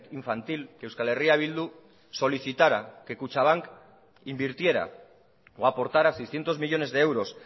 infantil que euskal herria bildu solicitara que kutxabank invirtiera o aportara seiscientos millónes de euros